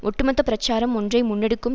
ஒட்டுமொத்த பிரச்சாரம் ஒன்றை முன்னெடுக்கும்